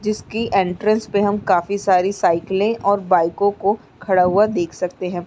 जिसकी एंट्रेस पे हम काफी सारी साइकिलें और बाईकों को खड़ा हुआ देख सकते हैं।